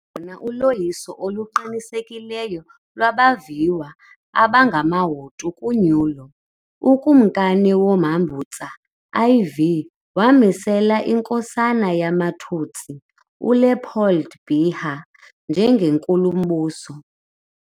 Nangona uloyiso oluqinisekileyo lwabaviwa abangamaHutu kunyulo, uKumkani Mwambutsa IV wamisela inkosana yamaTutsi, uLéopold Biha, njengeNkulumbuso.